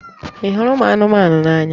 Ị hụrụ ụmụ anụmanụ n'anya?